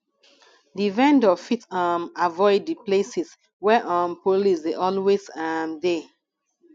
di vendor fit um avoid di places where um police dey always um de